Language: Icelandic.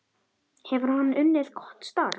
Hefur hann unnið gott starf?